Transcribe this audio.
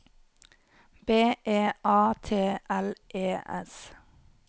B E A T L E S